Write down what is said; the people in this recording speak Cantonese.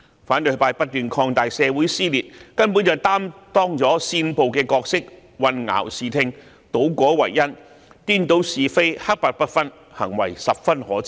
反對派不斷擴大社會撕裂，根本是擔當了煽暴的角色，混淆視聽，倒果為因，顛倒是非，黑白不分，行為十分可耻。